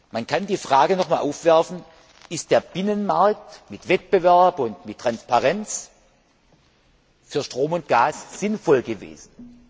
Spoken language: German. Man kann die Frage nochmals aufwerfen Ist der Binnenmarkt mit Wettbewerb und mit Transparenz für Strom und Gas sinnvoll gewesen?